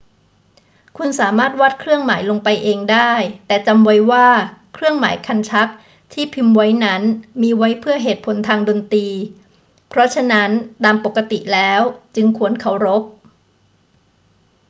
คุณสามารถวาดเครื่องหมายลงไปเองได้ แต่จำไว้ว่าเครื่องหมายคันชักที่พิมพ์ไว้นั้นมีไว้เพื่อเหตุผลทางดนตรี เพราะฉะนั้นตามปกติแล้วจึงควรเคารพ